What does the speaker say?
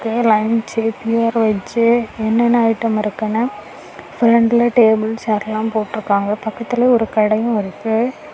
ஏ லைன்ச் pure veg என்னன்னா item இருக்குன்னு பிராண்ட்ல டேபிள் செர்லாம் போட்ருக்காங்க பக்கத்துல ஒரு கடையும் இருக்கு.